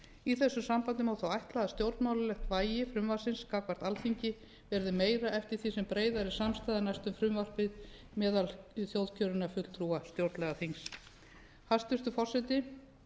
í þessu sambandi má þó ætla að stjórnmálalegt vægi frumvarpsins gagnvart alþingi verði meira eftir því sem breiðari samstaða næst um frumvarpið meðal þjóðkjörinna fulltrúa stjórnlagaþingsins hæstvirtur forseti